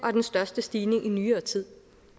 er den største stigning i nyere tid